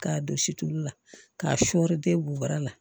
K'a don situlu la k'a sɔɔri den b'a la